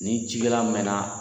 Ni cikɛla mɛnna